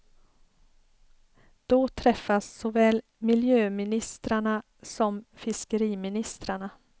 Då träffas såväl miljöministrarna som fiskeriministrarna.